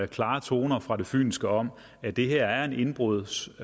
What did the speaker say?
klare toner fra det fynske om at det her er en indbrudshetz